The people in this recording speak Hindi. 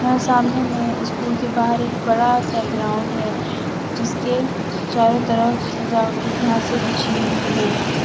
और सामने में स्कूल के बाहर एक बड़ा सा ग्राउंड है जिसके चारो तरफ सजावटी घासे से बिछी हुई है।